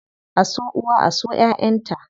A so uwa, a so ƴaʼƴan ta.